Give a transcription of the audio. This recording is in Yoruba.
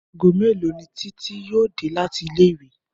Aago mélòó ni Títí yóò dé láti ilé ìwé?